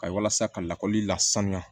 Ka walasa ka lakɔli la sanuya